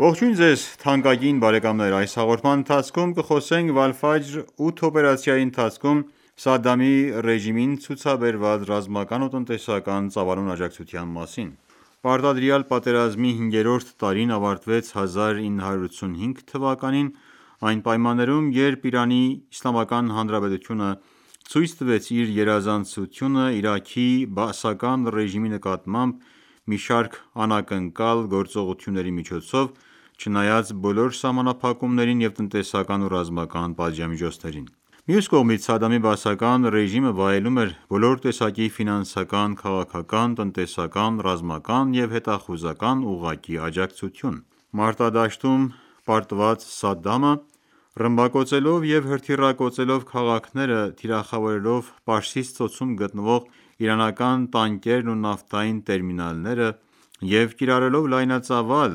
Ողջույն ձեզ թանկագին բարեկամներ: Այս հաղորդման ընթացքում կխոսենք Վալֆաջր 8 օպերացիայի ընթացքում Սադդամի ռեժիմին ցուցաբերված ռազմական ու տնտեսական ծավալուն աջակցության մասին: Պարտադրված պատերազմի հինգերորդ տարին ավարտվեց 1985 թվականին այն պայմաններում, երբ ԻԻՀ-ն ցույց տվեց իր գերազանցությունը Իրաքի բաասական ռեժիմի նկատմամբ մի շարք անակնկալ գործողությունների միջոցով՝ չնայած բոլոր սահմանափակումներին և տնտեսական ու ռազմական պատժամիջոցներին: Մյուս կողմից, Սադամի բաասական ռեժիմը վայելում էր բոլոր տեսակի ֆինանսական, քաղաքական, տնտեսական, ռազմական և հետախուզական ուղղակի աջակցություն: Մարտադաշտում պարտված Սադդամը ռմբակոծելով և հրթիռակոծելով քաղաքները, թիրախավորելով Պարսից ծոցում գտնվող իրանական տանկերն ու նավթային տերմինալները և կիրառելով լայնածավալ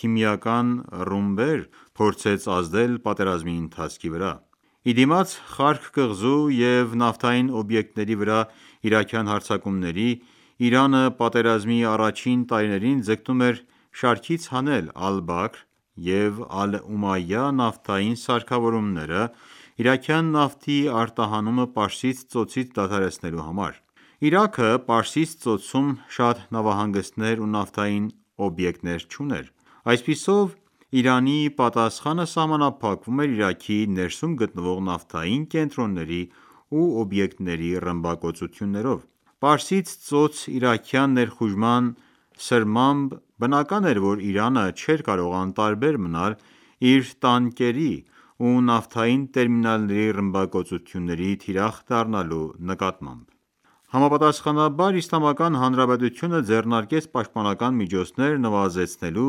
քիմիական ռումբեր փորձեց ազդել պատերազմի ընթացքի վրա: Ի դիմաց Խարկ կղզու և նավթային օբյեկտների վրա իրաքյան հարձակումների, Իրանը պատերազմի առաջին տարիներին ձգտում էր շարքից հանել Ալ-Բաքր և Ալ-Ումայյա նավթային սարքավորումները՝ իրաքյան նավթի արտահանումը Պարսից ծոցից դադարեցնելու համար: Իրաքը Պարսից ծոցում շատ նավահանգիստներ ու նավթային օբյեկտներ չուներ։ Այսպիսով, Իրանի պատասխանը սահմանափակվում էր Իրաքի ներսում գտնվող նավթային կենտրոնների ու օբյեկտների ռմբակոծություններով։ Պարսից ծոց իրաքյան ներխուժման սրմամբ բնական էր, որ Իրանը չէր կարող անտարբեր մնալ իր տանկերի ու նավթային տերմինալների ռմբակոծությունների թիրախ դառնալու նկատմամբ։ Համապատասխանաբար, Իսլամական Հանրապետությունը ձեռնարկեց պաշտպանական միջոցներ՝ նվազեցնելու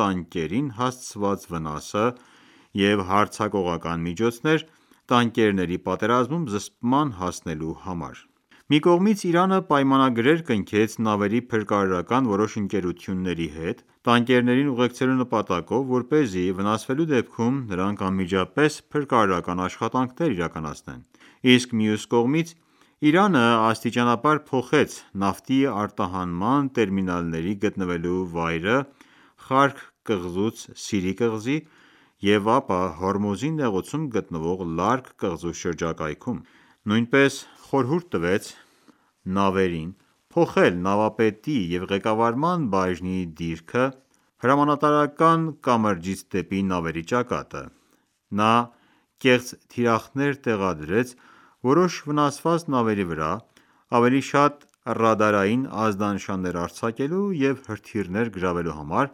տանկերին հասցված վնասը և հարձակողական միջոցներ՝ տանկերների պատերազմում զսպման հասնելու համար: Մի կողմից՝ Իրանը պայմանագրեր կնքեց նավերի փրկարարական որոշ ընկերությունների հետ՝ տանկերներին ուղեկցելու նպատակով, որպեսզի վնասվելու դեպքում նրանք անմիջապես փրկարարական աշխատանքներ իրականացնեն։ Իսկ մյուս կողմից, Իրանը աստիճանաբար փոխեց նավթի արտահանման տերմինալների գտնվելու վայրը Խարկ կղզուց Սիրի կղզի, և ապա Հորմուզի նեղուցում գտնվող Լարկ կղզու շրջակայքում: Նույնպես խորհուրդ տվեց նավերին փոխել նավապետի և ղեկավարման բաժնի դիրքը՝ հրամանատարական կամրջից դեպի նավերի ճակատը։ Նա կեղծ թիրախներ տեղադրեց որոշ վնասված նավերի վրա՝ ավելի շատ ռադարային ազդանշաններ արձակելու և հրթիռներ գրավելու համար,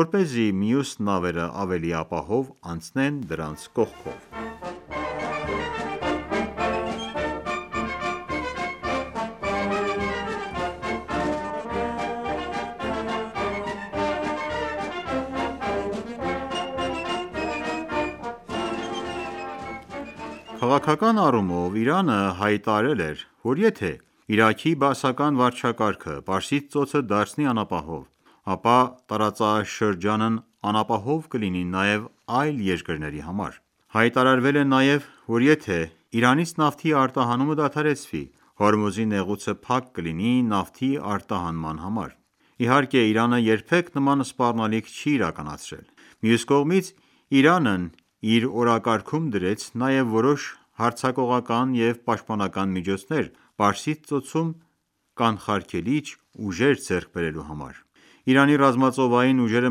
որպեսզի մյուս նավերն ավելի ապահով անցնեն դրանց կողքով։ Քաղաքական առումով Իրանը հայտարարել է, որ եթե Իրաքի բաասական վարչակարգը Պարսից ծոցը դարձնի անապահով, ապա տարածաշրջանն անապահով կլինի նաև այլ երկրների համար: Հայտարարվել է նաև, որ եթե Իրանից նավթի արտահանումը դադարեցվի, Հորմուզի նեղուցը փակ կլինի նավթի արտահանման համար։ Իհարկե, Իրանը երբեք նման սպառնալիք չի իրականացրել։ Մյուս կողմից, Իրանն իր օրակարգում դրեց նաև որոշ հարձակողական և պաշտպանական միջոցներ Պարսից ծոցում կանխարգելիչ ուժեր ձեռք բերելու համար։ Իրանի ռազմածովային ուժերը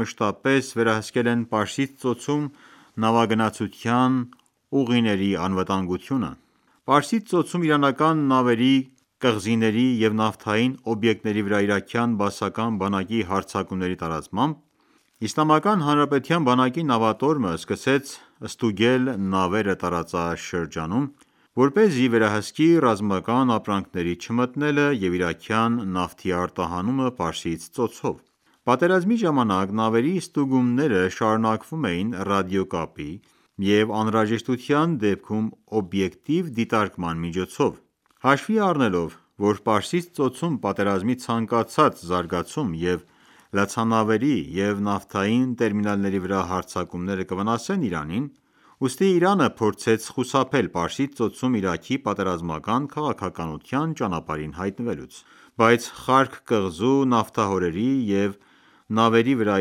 մշտապես վերահսկել են Պարսից ծոցում նավագնացության ուղիների անվտանգությունը։ Պարսից ծոցում իրանական նավերի, կղզիների և նավթային օբյեկտների վրա իրաքյան բաասական բանակի հարձակումների տարածմամբ Իսլամական Հանրապետության բանակի նավատորմը սկսեց ստուգել նավերը տարածաշրջանում, որպեսզի վերահսկի ռազմական ապրանքների չմտնելը և Իրաքյան նավթի արտահանումը Պարսից ծոցով: Պատերազմի ժամանակ նավերի ստուգումները շարունակվում էին ռադիոկապի և անհրաժեշտության դեպքում օբյեկտիվ դիտարկման միջոցով։ Հաշվի առնելով, որ Պարսից ծոցում պատերազմի ցանկացած զարգացում և լցանավերի և նավթային տերմինալների վրա հարձակումներ կվնասեն Իրանին, ուստի Իրանը փորձեց խուսափել Պարսից ծոցում Իրաքի պատերազմական քաղաքականության ճանապարհին հայտնվելուց: Բայց Խարկ կղզու, նավթահորերի և նավերի վրա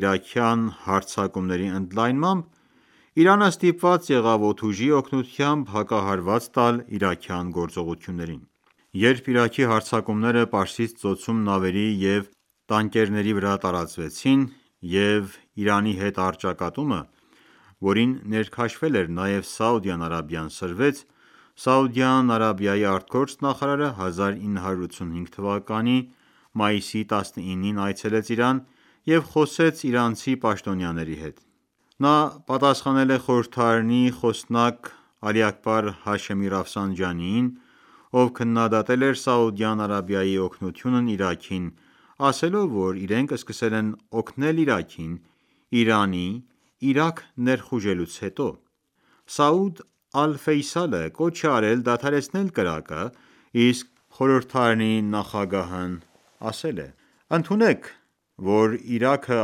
իրաքյան հարձակումների ընդլայնմամբ Իրանը ստիպված եղավ օդուժի օգնությամբ հակահարված տալ իրաքյան գործողություններին: Երբ Իրաքի հարձակումները Պարսից ծոցում նավերի և տանկերի վրա տարածվեցին, և Իրանի հետ առճակատումը, որին ներքաշվել էր նաև Սաուդյան Արաբիան, սրվեց, Սաուդյան Արաբիայի արտգործնախարարը 1985 թվականի մայիսի 19-ին այցելեց Իրան և խոսեց իրանցի պաշտոնյաների հետ: Նա պատասխանել է խորհրդարանի խոսնակ Աքբար Հաշեմի ով քննադատել էր Սաուդյան Արաբիայի օգնությունն Իրաքին՝ ասելով, որ իրենք սկսել են օգնել Իրաքին՝ Իրանի Իրաք ներխուժելուց հետո։ Սաուդ կոչ է արել դադարեցնել կրակը, իսկ խորհրդարանի նախագահն ասել է. «Ընդունեք, որ Իրաքը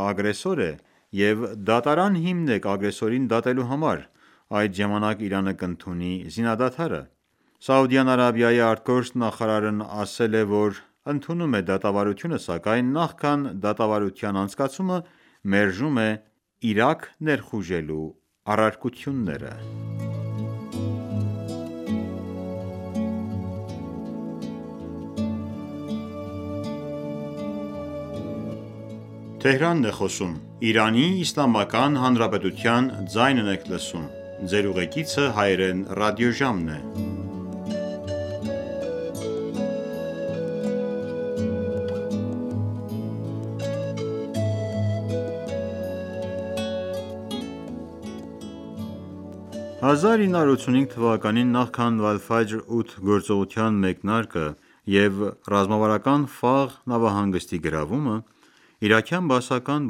ագրեսոր է, և դատարան հիմնեք ագրեսորին դատելու համար, Այդ ժամանակ Իրանը կընդունի զինադադարը»։ Սաուդյան Արաբիայի ԱԳ նախարարն ասել է, որ ընդունում է դատավարությունը, սակայն նախքան դատավարության անցկացումը մերժում է Իրաք ներխուժելու առարկությունները: 1985 թվականին, նախքան «Վալֆաջր 8» գործողության մեկնարկը և ռազմավարական Ֆավ նավահանգստի գրավումը, իրաքյան բաասական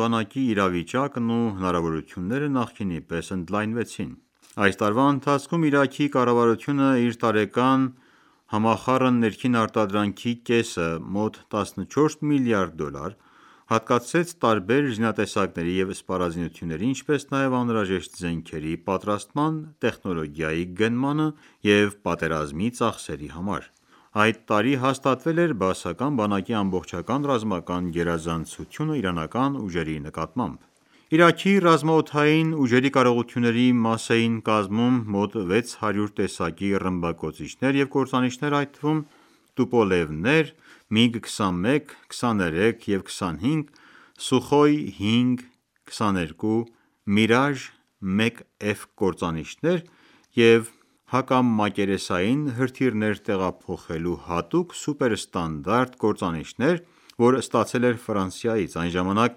բանակի իրավիճակն ու հնարավորությունները նախկինի պես ընդլայնվեցին։ Այս տարվա ընթացքում, Իրաքի կառավարությունն իր տարեկան ՀՆԱ-ի կեսը՝ մոտ 14 միլիարդ դոլար, հատկացրեց տարբեր զինատեսակների և սպառազինությունների, ինչպես նաև անհրաժեշտ զենքերի պատրաստման տեխնոլոգիայի գնմանը և պատերազմի ծախսերի համար: Այդ տարի հաստատվել էր բաասական բանակի ամբողջական ռազմական գերազանցությունը իրանական ուժերի նկատմամբ։ Իրաքի ռազմաօդային ուժերի կարողությունների մաս էին կազմում մոտ 600 տեսակի ռմբակոծիչներ և կործանիչներ, այդ թվում՝ Տուպոլևներ, ՄիԳ-21, 23 և 25, Սուխոյ 5 և 22, Mirage 1-F կործանիչներ և հակամակերեսային հրթիռներ տեղափոխելու հատուկ Սուպեր ստանդարտ կործանիչներ, որ ստացել էր Ֆրանսիայից: Այն ժամանակ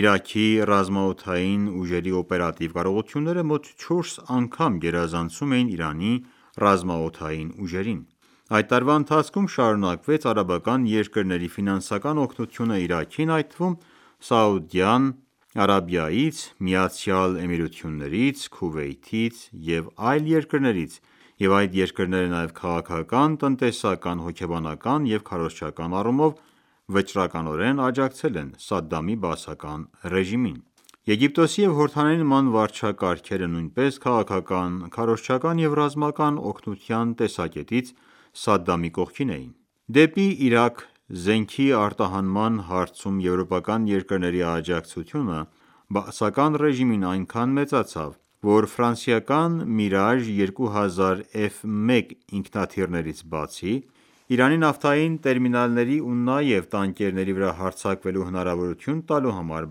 Իրաքի ռազմաօդային ուժերի օպերատիվ կարողությունները մոտ չորս անգամ գերազանցում էին Իրանի ռազմաօդային ուժերին: Այդ տարվա ընթացքում շարունակվեց արաբական երկրների ֆինանսական օգնությունն Իրաքին, այդ թվում՝ Սաուդյան Արաբիայից, ԱՄԷ-ից, Քուվեյթից և այլ երկրներից, և այդ երկրները նաև քաղաքական, տնտեսական, հոգեբանական և քարոզչական առումով վճռականորեն աջակցել են Սադամի բաասական ռեժիմին։ Եգիպտոսի և Հորդանանի նման վարչակարգերը նույնպես քաղաքական, քարոզչական և ռազմական օգնության տեսակետից Սադամի կողքին էին: Դեպի Իրաք զենքի արտահանման հարցում եվրոպական երկրների աջակցությունը բաասական ռեժիմին այնքան մեծացավ, որ Mirage 2000-F1 ինքնաթիռներից բացի, Իրանի նավթային տերմինալների ու նաև տանկերների վրա հարձակվելու հնարավորություն տալու համար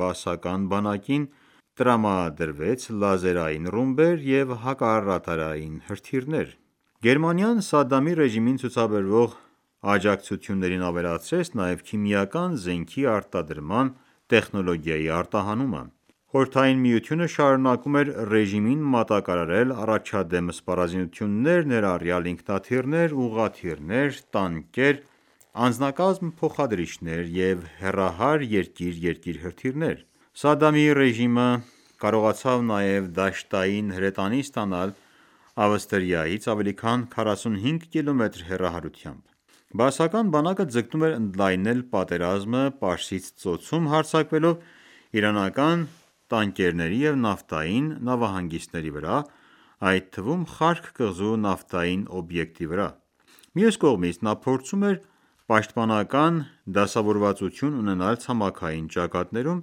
բաասական բանակին տրամադրեց լազերային ռումբեր և հակառադարային հրթիռներ: Գերմանիան Սադամի ռեժիմին ցուցաբերող աջակցություններին ավելացրեց նաև քիմիական զենքի արտադրման տեխնոլոգիաների արտահանումը։ ԽՍՀՄ-ը շարունակում էր ռեժիմին մատակարարել առաջադեմ սպառազինություններ՝ ներառյալ ինքնաթիռներ, ուղղաթիռներ, տանկեր, անձնակազմ փոխադրիչներ և հեռահար «երկիր-երկիր» հրթիռներ: Սադամի ռեժիմը կարողացավ նաև դաշտային հրետանի ստանալ Ավստրիայից՝ ավելի քան 45 կմ. հեռահարությամբ։ Բաասական բանակը ձգտում էր ընդլայնել պատերազմը Պարսից ծոցում՝ հարձակվելով իրանական տանկերների և նավթային նավահանգիստների վրա, այդ թվում՝ Խարկ կղզու նավթային օբյեկտի վրա: Մյուս կողմից, նա փորձում էր պաշտպանական դասավորվածություն ունենալ ցամաքային ճակատներում,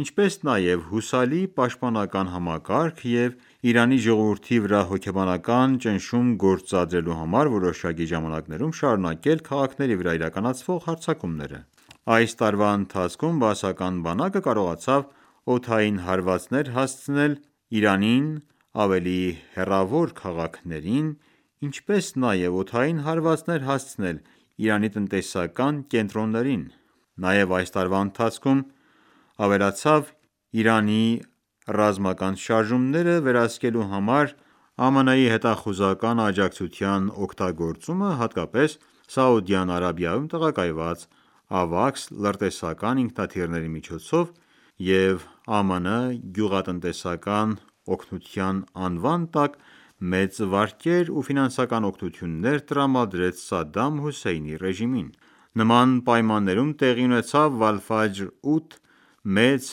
ինչպես նաև հուսալի պաշտպանական համակարգ և Իրանի ժողովրդի վրա հոգեբանական ճնշում գործադրելու համար որոշակի ժամանակներում շարունակել քաղաքների վրա իրականացվող հարձակումները։ Այս տարվա ընթացքում բաասական բանակը կարողացավ օդային հարվածներ հասցնել Իրանի ավելի հեռավոր քաղաքներին, ինչպես նաև օդային հարվածներ հասցնել Իրանի տնտեսական կենտրոններին: Նաև այս տարվա ընթացքում, ավելացավ Իրանի ռազմական շարժումները վերահսկելու համար ԱՄՆ հետախուզական աջակցության օգտագործումը, հատկապես Սաուդյան Արաբիայում տեղակայված AWACS լրտեսական ինքնաթիռների միջոցով և ԱՄՆ-ն գյուղատնտեսական օգնության անվան տակ մեծ վարկեր ու ֆինանսական օգնություններ տրամադրեց Սադամ Հուսեյնի ռեժիմին: Նման պայմաններում տեղի ունեցավ «Վալֆաջր 8» մեծ,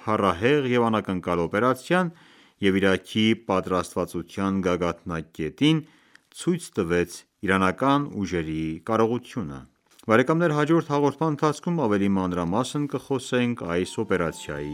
փառահեղ և անակնկալ օպերացիան և Իրաքի պատրաստվածության գագաթնակետին ցույց տվեց իրանական ուժերի կարողությունը։ Հաջորդ հաղորդման ընթացքում ավելի մանրամասն կխոսենք այս օպերացիայի